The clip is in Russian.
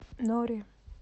нори